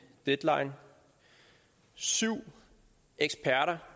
deadline syv eksperter